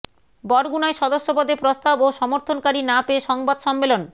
বরগুনায় সদস্য পদে প্রস্তাব ও সমর্থনকারী না পেয়ে সংবাদ সম্মেলন